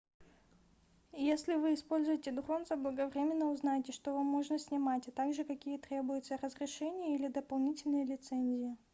если вы используете дрон заблаговременно узнайте что вам можно снимать а также какие требуются разрешения или дополнительные лицензии